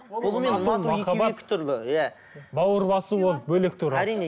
бауыр басу ол бөлек түрі әрине